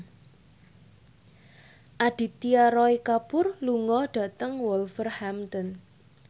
Aditya Roy Kapoor lunga dhateng Wolverhampton